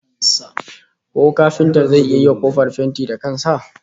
Ko kafintan zai iya yiwa kofar fenti da kan sa?